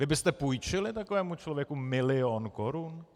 Vy byste půjčili takovému člověku milion korun?